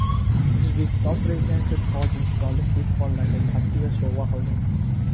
O‘zbekiston Prezidenti tojikistonlik dehqonlarga Captiva sovg‘a qildi.